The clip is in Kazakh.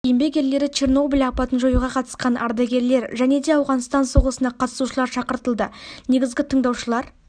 еңбек ерлері чернобыль апатын жоюға қатысқан ардагерлер және де ауғанстан соғысына қатысушылар шақыртылды негізгі тыңдаушылар